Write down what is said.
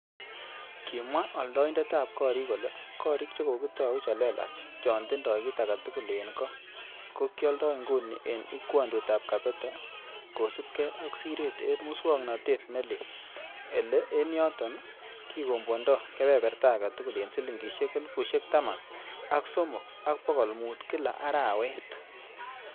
Kimwa oldoitet ab gorik kole,"Gorik che kokitou che lelach chon tindoi kit agetugul en goo ko kioldon inguni en ingwodutab Kabete." Kosiibge ak siret en muswog'notet ne leel, ele en yoton kikombwondo kebeberta agetugul en silingisiek elfusiek taman ak somok ak bogol mut kila arawet.